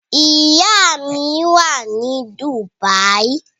Ìyá mi wà ní Dubai.